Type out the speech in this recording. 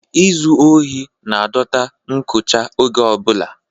izu ohi na-adọta nkọcha oge ọ bụla